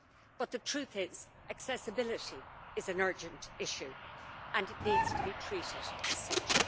But the truth is, accessibility is an urgent issue and it needs to be treated as such.